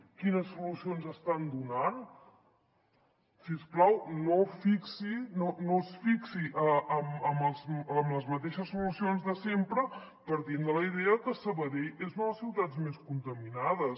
quines solucions estan donant si us plau no es fixi en les mateixes solucions de sempre partint de la idea que sabadell és una de les ciutats més contaminades